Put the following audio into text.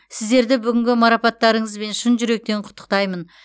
сіздерді бүгінгі марапаттарыңызбен шын жүректен құттықтаймын